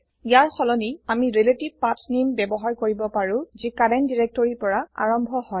ইয়াৰ সলনি আমি ৰিলেটিভ পাঠনামে ৰিলেতিভ পাথনেম ব্যৱহাৰ কৰিব পাৰো যি কাৰেন্ত ডিৰেক্তৰিৰ পৰা আৰম্ভ হয়